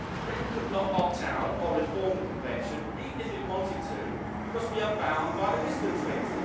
Britain could not opt out of or reform the Convention even if it wanted to, because we are bound by the Lisbon Treaty.